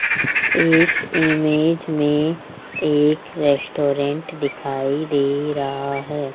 इस इमेज में एक रेस्टोरेंट दिखाई दे रहा है।